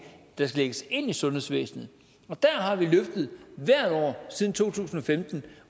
der skal lægges ind i sundhedsvæsenet og der har vi løftet hvert år siden to tusind og femten